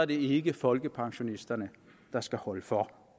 det ikke folkepensionisterne der skal holde for